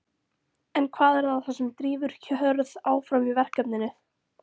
En hvað er það sem drífur Hörð áfram í verkefninu?